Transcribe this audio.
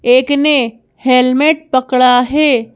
एक ने हेलमेट पकड़ा है।